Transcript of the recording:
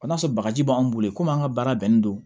O n'a sɔrɔ bagaji b'an bolo komi an ka baara bɛnnen don